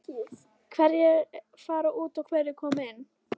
Hverjir fara út og hverjir koma inn?